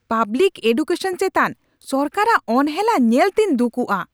Public education ᱪᱮᱛᱟᱱ ᱥᱚᱨᱠᱟᱨᱟᱜ ᱚᱱᱦᱮᱞᱟ ᱧᱮᱞᱛᱮᱧ ᱫᱩᱠᱩᱜᱼᱟ ᱾